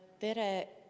Tere!